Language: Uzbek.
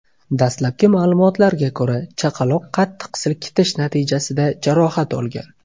Dastlabki ma’lumotlarga ko‘ra, chaqaloq qattiq silkitish natijasida jarohat olgan.